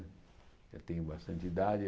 Eu tenho bastante idade.